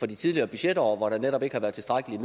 de tidligere budgetår hvor der netop ikke har været tilstrækkeligt